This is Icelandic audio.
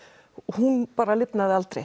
hún lifnaði aldrei